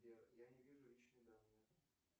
сбер я не вижу личные данные